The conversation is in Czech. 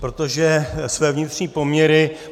Protože své vnitřní poměry